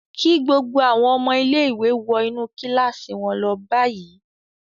Kí gbogbo àwọn ọmọ ilé-ìwé wọ inú kíláàsì wọn lọ báyìí l!